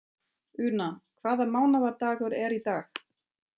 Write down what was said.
Una, hvaða mánaðardagur er í dag?